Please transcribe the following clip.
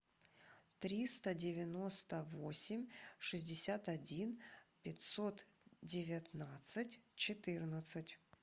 триста девяносто восемь шестьдесят один пятьсот девятнадцать четырнадцать